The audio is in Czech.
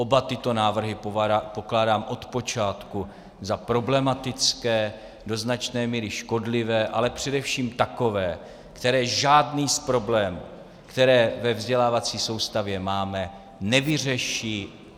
Oba tyto návrhy pokládám od počátku za problematické, do značné míry škodlivé, ale především takové, které žádný z problémů, které ve vzdělávací soustavě máme, nevyřeší.